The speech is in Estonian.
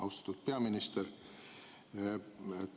Austatud peaminister!